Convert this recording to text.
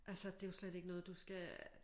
Altså det jo slet ikke noget du skal